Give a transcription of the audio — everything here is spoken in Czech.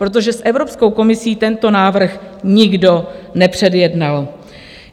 Protože s Evropskou komisí tento návrh nikdo nepředjednal.